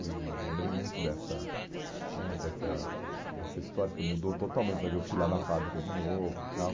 E eu lembrei muito dessa né dessa dessa história, que mudou totalmente, mas eu fui lá na fábrica de novo e tal.